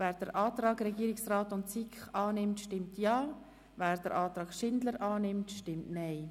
Wer den Antrag Regierungsrat/SiK annimmt, stimmt Ja, wer den Antrag Schindler/SP-JUSO-PSA annimmt, stimmt Nein.